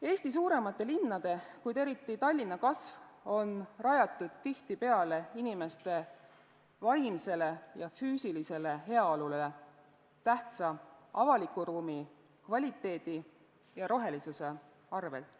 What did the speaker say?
Eesti suuremate linnade, kuid eriti Tallinna kasv on rajatud tihtipeale inimeste vaimsele ja füüsilisele heaolule tähtsa avaliku ruumi kvaliteedi ja rohelisuse arvel.